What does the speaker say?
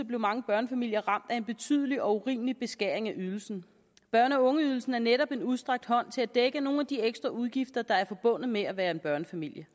blev mange børnefamilier ramt af en betydelig og urimelig beskæring af ydelsen børne og ungeydelsen er netop en udstrakt hånd til at dække nogle af de ekstra udgifter der er forbundet med at være en børnefamilie